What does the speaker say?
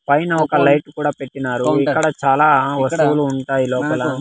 పైన ఒక లైట్ కూడా పెట్టినారు ఇక్కడ చాలా వస్తువులు ఉంటాయి లోపల.